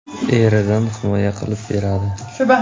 Eridan himoya qilib beradi.